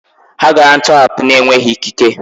Ha gara ntọhapụ n'enweghị ikike.